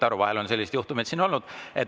Vahel on selliseid juhtumeid olnud.